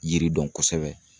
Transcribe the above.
Yiri dɔn kosɛbɛ.